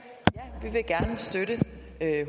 at